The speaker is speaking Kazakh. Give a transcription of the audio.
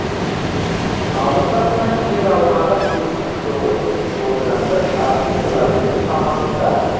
алып жатқан жер аумағы сексен тоғыз бүтін оннан бір шаршы километр шамасында